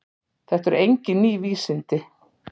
Þetta eru engin ný vísindi.